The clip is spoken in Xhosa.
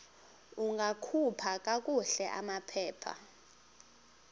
ungakhupha kakuhle amaphepha